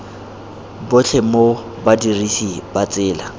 botlhe mo badirisi ba tsela